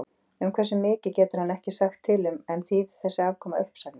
Um hversu mikið getur hann ekki sagt til um en þýðir þessi afkoma uppsagnir?